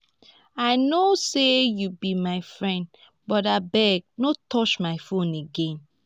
i no say you be my friend but abeg no touch my phone again